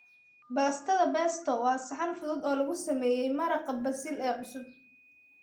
Baastada Pesto waa saxan fudud oo lagu sameeyay maraqa basil ee cusub.